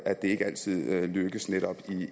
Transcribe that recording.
at det ikke altid lykkes